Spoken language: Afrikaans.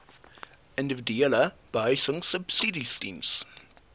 individuele behuisingsubsidies diens